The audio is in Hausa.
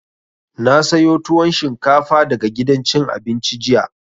Na sayo tuwon shinkafa daga gidan cin abinci jiya